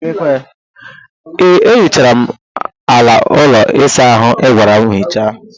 Ee, ehichara m ala ụlọ ịsa ahụ ịgwara m hichaa.